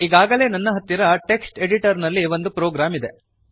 ಈಗಾಗಲೇ ನನ್ನ ಹತ್ತಿರ ಟೆಕ್ಸ್ಟ್ ಎಡಿಟರ್ ನಲ್ಲಿ ಒಂದು ಪ್ರೋಗ್ರಾಂ ಇದೆ